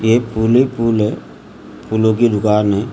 ये फूल ही फूल है फूलों की दुकान है।